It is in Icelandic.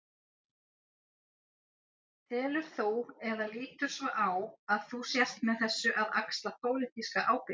Telur þú, eða lítur svo á að þú sért með þessu að axla pólitíska ábyrgð?